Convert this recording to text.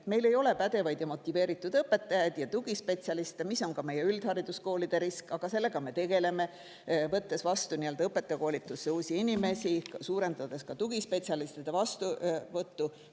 Et meil ei ole pädevaid ja motiveeritud õpetajaid ega tugispetsialiste, mis on ka meie üldhariduskoolide risk, aga sellega me tegeleme, võttes vastu õpetajakoolitusse uusi inimesi ning suurendades tugispetsialistide vastuvõttu.